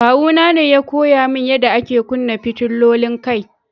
Kawu na ne ya koya mun yada ake kunna fitilolin kai.